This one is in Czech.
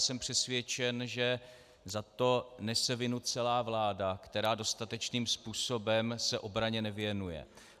Jsem přesvědčen, že za to nese vinu celá vláda, která dostatečným způsobem se obraně nevěnuje.